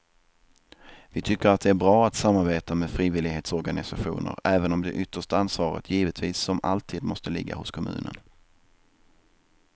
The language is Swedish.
Vi tycker att det är bra att samarbeta med frivillighetsorganisationer även om det yttersta ansvaret givetvis som alltid måste ligga hos kommunen.